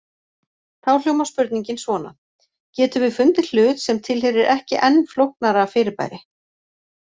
Þá hljómar spurningin svona: Getum við fundið hlut sem tilheyrir ekki enn flóknara fyrirbæri?